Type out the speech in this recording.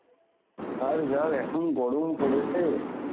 আর যা এখন গরম পড়েছে.